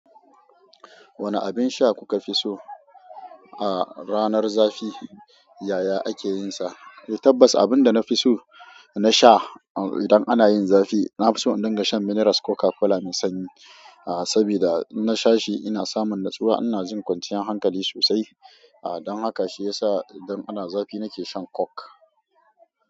Wane abin sha kuka fi so a ranar zafi, yaya ake yin sa? Tabbas abin da na fi so na sha idan ana yin zafi, na fi so in dinga shan minerals Coca-Cola mai sanyi. Sabida in na sha shi ina samun natsuwa, ina jin kwanciyan hankali sosai. Don haka shi ya sa idan ana zafi na ke shan coke.